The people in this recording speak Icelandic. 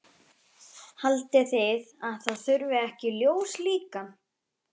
Haldið þið að það þurfi ekki ljós líka?